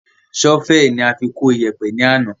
Sọ́fẹ́ẹ̀ ni a fi kó iyẹ̀pẹ̀ ni àná